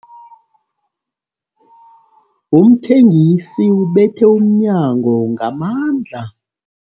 Umthengisi ubethe umnyango ngamandla.